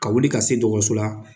Ka wuli ka se dɔgɔtɔrɔso la.